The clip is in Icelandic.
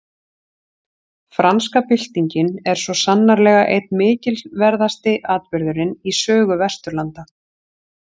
Franska byltingin er svo sannarlega einn mikilverðasti atburðurinn í sögu Vesturlanda.